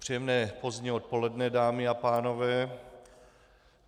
Příjemné pozdní odpoledne, dámy a pánové.